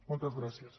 moltes gràcies